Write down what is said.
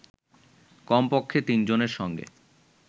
কমপক্ষে তিনজনের সঙ্গে